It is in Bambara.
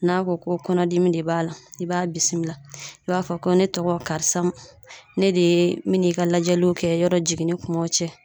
N'a ko ko kɔnɔdimi de b'a la, i b'a bisimila i b'a fɔ ko ne tɔgɔ karisa, ne de ye n bɛ n'i ka lajɛliw kɛ yɔrɔ jiginni kumaw